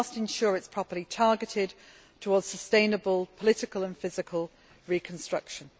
We must ensure that it is properly targeted towards sustainable political and physical reconstruction.